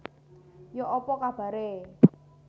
Yok apa kabare